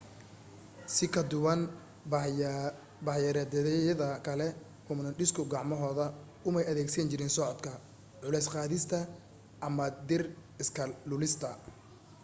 si ka duwan bah-daayeereedyada kale hoomoniidhisku gacmahooda umay adeegsan jirin socodka culays qaadista ama dhir iska lulista